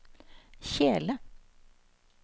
kjele